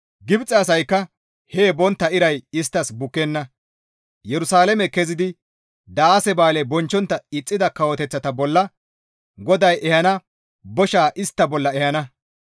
Gibxe asaykka hee bontta iray isttas bukkenna; Yerusalaame kezidi daase ba7aale bonchchontta ixxida kawoteththata bolla GODAY ehana boshaa istta bolla ehana.